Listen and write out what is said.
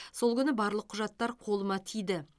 сол күні барлық құжаттар қолыма тиді